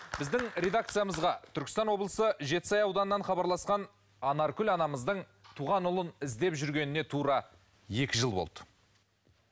біздің редакциямызға түркістан облысы жетісай ауданынан хабарласқан анаркүл анамыздың туған ұлын іздеп жүргеніне тура екі жыл болды